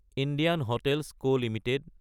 Indian hotels co Ltd